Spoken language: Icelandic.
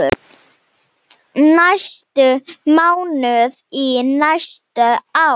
næstu mánuði, næstu ár.